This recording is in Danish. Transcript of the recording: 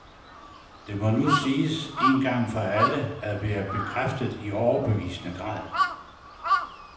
Det må nu siges en gang for alle at være bekræftet i overbevisende grad.